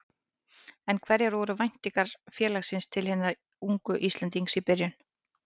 En hverjar voru væntingar félagsins til hins unga Íslendings í byrjun?